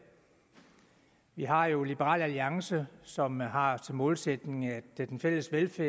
vi har jo liberal alliance som har til målsætning at den fælles velfærd